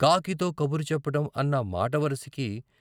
కాకితో కబురు చెప్పడం అన్న మాటవరసకి.